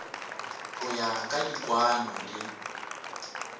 go ya ka dikwaano le